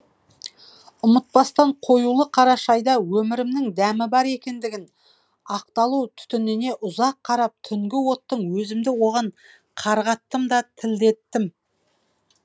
ұмытпастан қоюлы қара шәйда өмірімнің дәмі бар екендігін ақталу түтініне ұзақ қарап түнгі оттың өзімді оған қарғаттым да тілдеттім